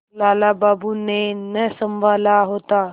लाला बाबू ने न सँभाला होता